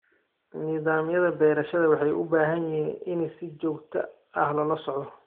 Nidaamyada beerashada waxay u baahan yihiin in si joogto ah loola socdo.